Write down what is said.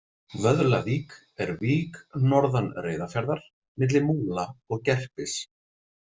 Vöðlavík er vík norðan Reyðarfjarðar, milli Múla og Gerpis.